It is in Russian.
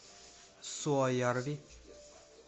суоярви